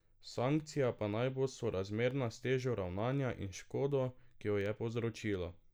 Sankcija pa naj bo sorazmerna s težo ravnanja in škodo, ki jo je povzročilo.